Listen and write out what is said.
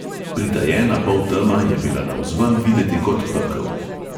Pritajena poltema je bila navzven videti kot pekel.